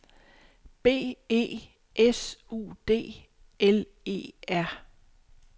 B E S U D L E R